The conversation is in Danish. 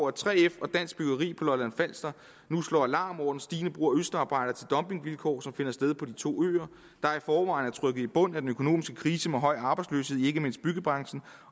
at 3f og dansk byggeri på lolland falster nu slår alarm over den stigende brug af østarbejdere til dumpingvilkår som finder sted på de to øer der i forvejen er trykket i bund af den økonomiske krise med høj arbejdsløshed i ikke mindst byggebranchen